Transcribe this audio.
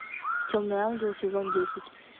темный ангел сезон десять